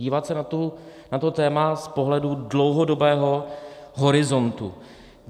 Dívat se na to téma z pohledu dlouhodobého horizontu.